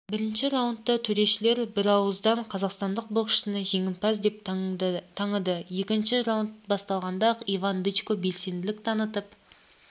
бірінші раундта төрешілер бірауыздан қазақстандық боксшыны жеңімпаз деп таныды екінші раунд басталғанда-ақ иван дычко белсенділік танытып